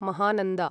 Mahananda